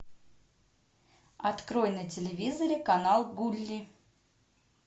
открой на телевизоре канал гулли